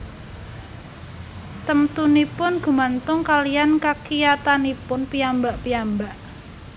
Temtunipun gumantung kaliyan kakiyatanipun piyambak piyambak